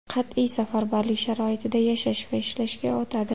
Qat’iy safarbarlik sharoitida yashash va ishlashga o‘tadi.